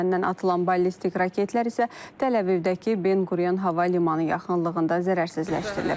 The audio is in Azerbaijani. Yəməndən atılan ballistik raketlər isə Təl-Əvivdəki Ben Qurion Hava Limanı yaxınlığında zərərsizləşdirilib.